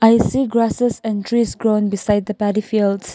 a few grasses and trees grow beside the paddy fields.